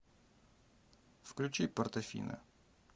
включи портофино